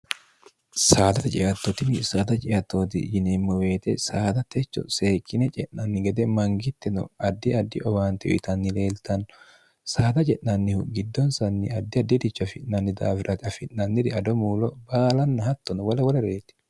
saada ciattoti saada ciattooti yineemmo beete saada techo seekkine ce'nanni gede mangittino addi addi owaante uyitanni leeltanno saada ce'nannihu giddonsanni addi addiricho afi'nanni daawirati afi'nanniri ado muulo baalanna hattono wala wola reeti